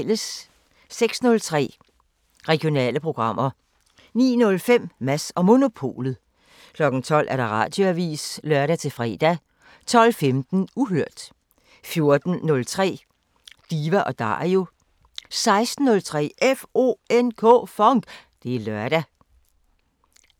06:03: Regionale programmer 09:05: Mads & Monopolet 12:00: Radioavisen (lør-fre) 12:15: Uhørt 14:03: Diva & Dario 16:03: FONK! Det er lørdag